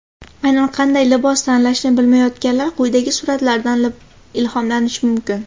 Aynan qanday libos tanlashni bilmayotganlar quyidagi suratlardan ilhomlanishi mumkin.